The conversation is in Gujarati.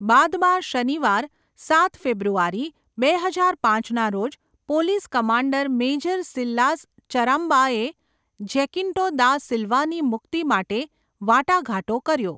બાદમાં શનિવાર, સાત ફેબ્રુઆરી, બે હજાર પાંચના રોજ, પોલીસ કમાન્ડર મેજર સિલ્લાસ ચરામ્બાએ જેકિન્ટો દા સિલ્વાની મુક્તિ માટે વાટાઘાટો કર્યો.